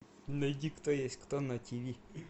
найди кто есть кто на тв